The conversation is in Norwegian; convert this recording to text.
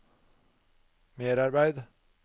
merarbeid